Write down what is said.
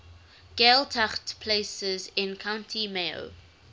gaeltacht places in county mayo